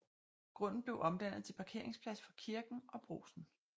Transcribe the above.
Grunden blev omdannet til parkeringsplads for kirken og Brugsen